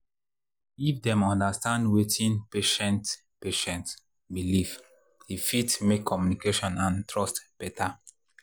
if dem understand wetin patient patient believe e fit make communication and trust better.